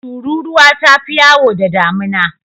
Tururuwa ta fi yawo da damina.